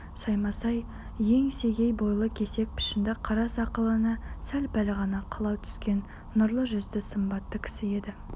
саймасай еңсегей бойлы кесек пішінді қара сақалына сәл-пәл ғана қылау түскен нұрлы жүзді сымбатты кісі еді